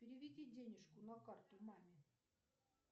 переведи денежку на карту маме